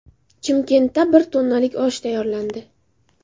Chimkentda bir tonnalik osh tayyorlandi.